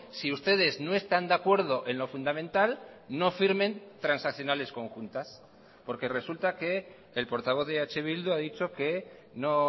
si ustedes no están de acuerdo en lo fundamental no firmen transaccionales conjuntas porque resulta que el portavoz de eh bildu ha dicho que no